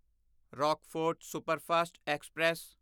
Rockfort superfast express